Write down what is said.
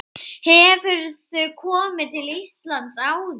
Hefurðu komið til Íslands áður?